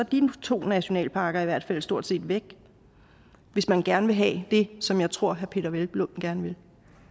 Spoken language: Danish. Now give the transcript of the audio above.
de to nationalparker i hvert fald stort set væk hvis man gerne vil have det som jeg tror herre peder hvelplund gerne vil